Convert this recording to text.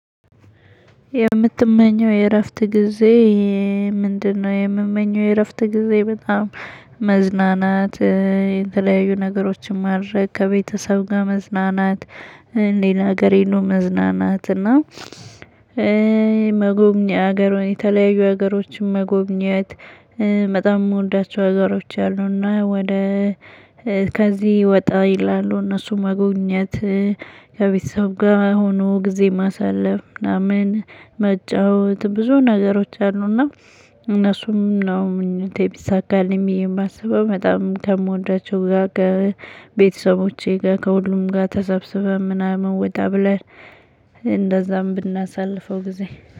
የምትመኘው የእረፍት ጊዜ ምንድነው? የምመኘው የእረፍት ጊዜ በጣም መዝናናት የተለያዩ ነገሮችን ማረግ ከቤተሰብ ጋር መዝናናት ሌላ ሀገር ሄዶ መዝናናት እና መጎብኘት ሀገሮን የተለያዩ ሀገሮችን መጎብኘት። በጣም የምወዳቸው ሀገሮች አሉ እና ወደ ከዚህ ወጣ ይላሉ እነሱን መጎብኘት። ከቤተሰብ ጋር ሆኖ ጊዜ ማሳለፍ ምናምን መጫወት ብዙ ነገሮች አሉ። እና እነሱንም ነው ምኞቴ ቢሳካልኝ ብዬ የማስበው በጣም ከምወዳቸው ጋር ቤተሰቦቼ ጋር ከሁሉም ጋር ተሰብስበን ምናምን ወጣ ብለን እንደዛም ብናሳልፈው ጊዜ።